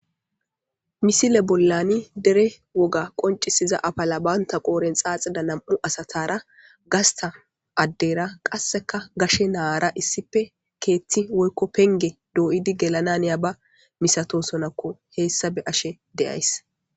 Misile bollani derre wogga qincizizza afala banitta qodheni xaxidda namu'u assatara gasita assatara issi gashe na'ara kethe penige doyiddi gelanawu hanishin beyayisi.